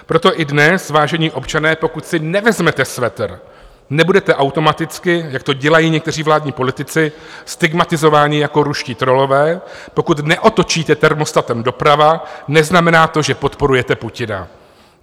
Proto i dnes, vážení občané, pokud si nevezmete svetr, nebudete automaticky, jak to dělají někteří vládní politici, stigmatizováni jako ruští trollové, pokud neotočíte termostatem doprava, neznamená to, že podporujete Putina.